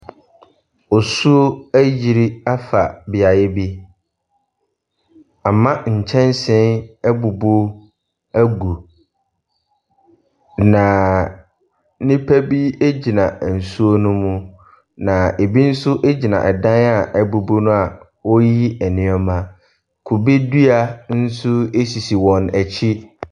Osuo ayiri afa beaeɛ bi. Ama nkyɛnsee abubu agu. Na nnipa bi egyina nsuo no mu. Na ebi nso gyina ɛdan a abubu no a wɔreyiyi nneɛma. Kubedua nso esisi wɔn akyi.